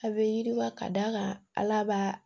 A bɛ yiriwa ka d'a kan ala b'a